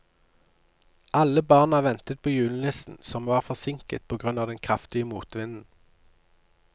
Alle barna ventet på julenissen, som var forsinket på grunn av den kraftige motvinden.